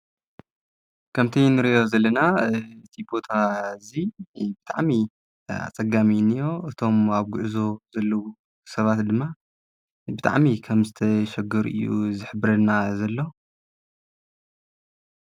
ከምቲይ ንርዮ ዘለና እቲጶታ እዙ ብጥዕሚ ኣጸጋሚኒዮ እቶም ኣብ ጕዕዞ ዘለዉ ሰባት ድማ ብጥዕሚ ከም ዝተ ሸጕር እዩ ዘኅብረና ዘሎ።